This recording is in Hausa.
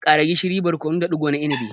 Ƙara gishiri, barkono da digo na inibi.